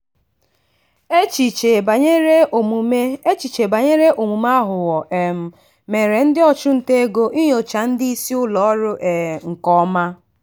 echiche banyere omume echiche banyere omume aghụghọ um mere ndị ọchụnta ego inyocha ndị isi ụlọọrụ um nke ọma.